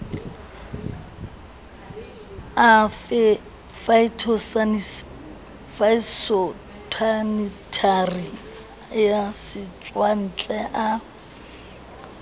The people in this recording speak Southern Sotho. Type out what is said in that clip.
a phytosanitary a setswantle a